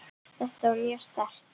Þetta var mjög sterkt.